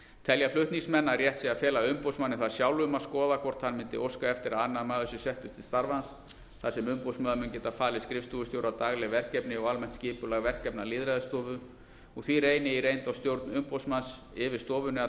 telja flutningsmenn að rétt sé að fela umboðsmanni það sjálfum að skoða hvort hann mundi óska eftir að annar maður sé settur til starfans þar sem umboðsmaður mun geta falið skrifstofustjóra dagleg verkefni og almennt skipulag verkefna lýðræðisstofu og því reyni í reynd á stjórn umboðsmanns yfir stofunni að